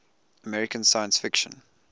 american science fiction